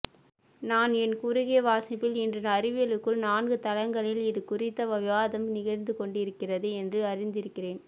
நான் என் குறுகிய வாசிப்பில் இன்று அறிவியலுக்குள் நான்கு தளங்களில் இது குறித்த விவாதம் நிகழ்ந்துகொண்டிருக்கிறது என்று அறிந்திருக்கிறேன்